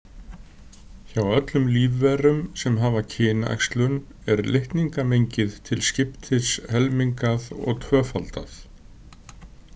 Hjá öllum lífverum sem hafa kynæxlun er litningamengið til skiptis helmingað og tvöfaldað.